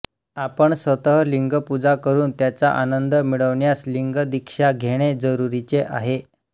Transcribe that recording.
आपण स्वत लिंगपूजा करून त्याचा आनंद मिळविण्यास लिंगदीक्षा घेणे जरूरीचे आहे